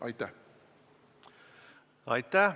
Aitäh!